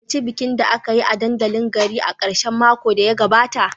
Ku halarci bikin da aka yi a dandalin garin a karshen makon da ya gabata